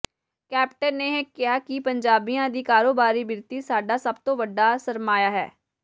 captain ਨੇ ਕਿਹਾ ਕਿ ਪੰਜਾਬੀਆਂ ਦੀ ਕਾਰੋਬਾਰੀ ਬਿਰਤੀ ਸਾਡਾ ਸਭ ਤੋਂ ਵੱਡਾ ਸਰਮਾਇਆ ਹੈ